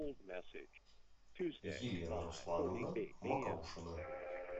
елена руслановна мокрушина